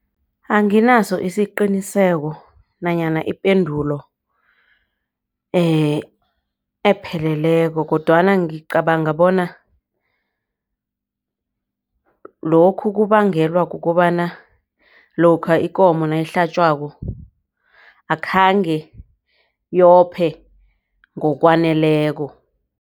Anginaso isiqiniseko nanyana ipendulo epheleleko kodwana ngicabanga bona lokhu kubangelwa kukobana lokha ikomo nayihlatjwako akhange yophe ngokwaneleko.